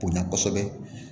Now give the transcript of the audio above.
Bonya kɔsɛbɛ